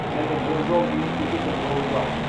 және болжау институты құрылды